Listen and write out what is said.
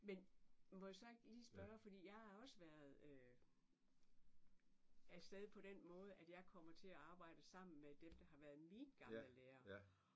Men må jeg så ikke lige spørge fordi jeg har også været afsted på den måde at jeg kommer til at arbejde sammen med dem der har været mine gamle lærere